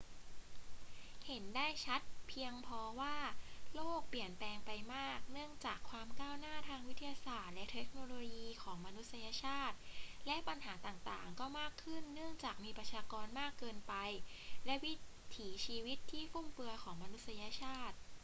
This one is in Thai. เห็นได้ชัดเพียงพอว่าโลกเปลี่ยนแปลงไปมากเนื่องจากความก้าวหน้าทางวิทยาศาสตร์และเทคโนโลยีของมนุษยชาติ และปัญหาต่าง ๆ ก็มากขึ้นเนื่องจากมีประชากรมากเกินไปและวิถีชีวิตที่ฟุ่มเฟือยของมนุษยชาติ